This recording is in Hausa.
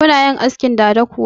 Kuna yin askin dada kuwa?